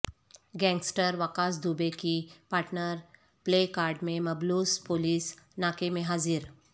gangster Vikas Dubey کی partner play card میں ملبوس پولیس ناکے میں حاضر